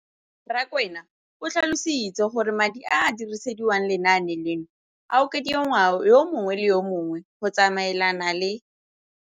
Rakwena o tlhalositse gore madi a a dirisediwang lenaane leno a okediwa ngwaga yo mongwe le yo mongwe go tsamaelana le